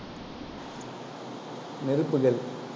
நெருப்புகள்